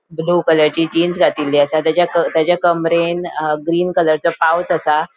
ब्लू कलरची जीन्स घातील्ली असा तेजा तेजा कमरेन ग्रीन कलरचो पॉउंच आसा.